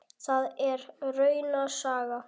Það er rauna saga.